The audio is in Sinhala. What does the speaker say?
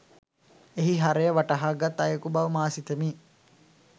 එහි හරය වටහාගත් අයෙකු බව මා සිතමි